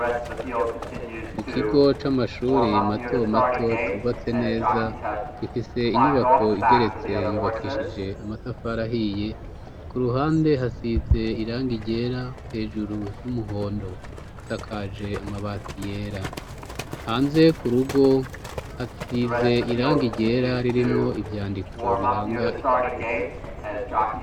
Mu kigo c'amashure matomato cubatse neza, gifise inyubako igeretse yubakishije amatafari ahiye, ku ruhande hasize irangi ryera, hejuru ry'umuhondo, isakaje amabati yera. Hanze ku rugo hasize irangi ryera ririmwo ivyandiko biranga ikigo.